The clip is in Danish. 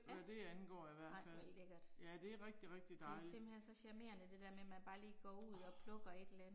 Hvad det angår i hvert fald. Ja det er rigtig rigtig dejligt. Åh